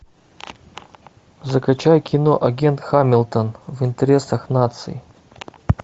закачай кино агент хамилтон в интересах нации